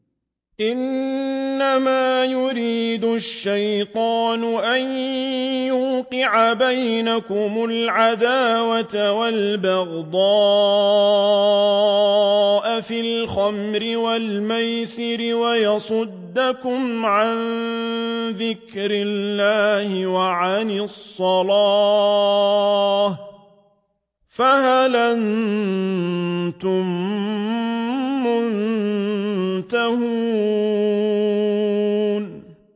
إِنَّمَا يُرِيدُ الشَّيْطَانُ أَن يُوقِعَ بَيْنَكُمُ الْعَدَاوَةَ وَالْبَغْضَاءَ فِي الْخَمْرِ وَالْمَيْسِرِ وَيَصُدَّكُمْ عَن ذِكْرِ اللَّهِ وَعَنِ الصَّلَاةِ ۖ فَهَلْ أَنتُم مُّنتَهُونَ